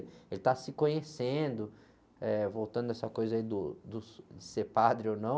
Ele está se conhecendo, eh, voltando a essa coisa do, de ser padre ou não.